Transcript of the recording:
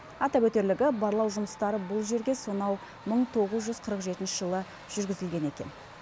атап өтерлігі барлау жұмыстары бұл жерге сонау мың тоғыз жүз қырық жетінші жылы жүргізілген екен